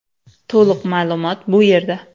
To‘liq ma’lumot bu yerda .